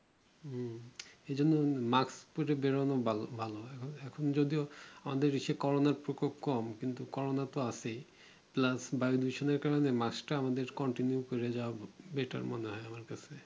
হম এইজন্য Mask পরে বেরোনো বলো এখন যদিও অন্য দেশে Corona প্রকোপ কম কিন্তু Corona তো আছেই Plus বায়ুদূষণের কারণে Mask টা আমাদের continue পরে যাওয়া উচিত Better মনে হয় আমার কাছে